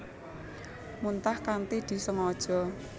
Muntah kanthi disengaja